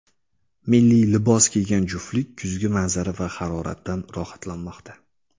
Milliy libos kiygan juftlik kuzgi manzara va haroratdan rohatlanmoqda.